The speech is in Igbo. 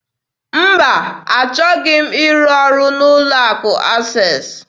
Mba, achọghị m ịrụ ọrụ n'ụlọ akụ Access.